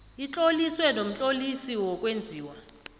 itloliswe nomtlolisi wokwenziwa